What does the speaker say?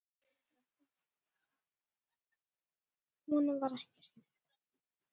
Honum var ekki skemmt!